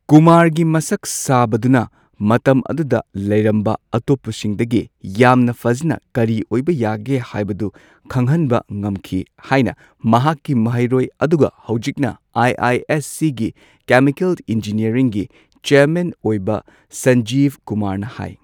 ꯀꯨꯃꯥꯔꯒꯤ ꯃꯁꯛ ꯁꯥꯕꯗꯨꯅ ꯃꯇꯝ ꯑꯗꯨꯗ ꯂꯩꯔꯝꯕ ꯑꯇꯣꯞꯄꯁꯤꯡꯗꯒꯤ ꯌꯥꯝꯅ ꯐꯖꯅ ꯀꯔꯤ ꯑꯣꯏꯕ ꯌꯥꯒꯦ ꯍꯥꯏꯕꯗꯨ ꯈꯪꯍꯟꯕ ꯉꯝꯈꯤ ꯍꯥꯏꯅ ꯃꯍꯥꯛꯀꯤ ꯃꯍꯩꯔꯣꯏ ꯑꯗꯨꯒ ꯍꯧꯖꯤꯛꯅ ꯑꯥꯏꯑꯥꯏꯑꯦꯁꯁꯤꯒꯤ ꯀꯦꯃꯤꯀꯜ ꯢꯟꯖꯤꯅꯤꯌꯔꯤꯡꯒꯤ ꯆꯦꯔꯃꯦꯟ ꯑꯣꯏꯕ ꯁꯥꯟꯖꯤꯕ ꯀꯨꯃꯥꯔꯅ ꯍꯥꯏ꯫